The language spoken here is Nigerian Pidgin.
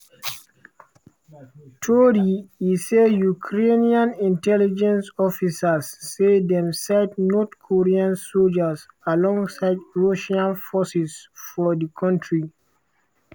tori e say ukrainian intelligence officers say dem sight north korean soldiers alongside russian forces for di country.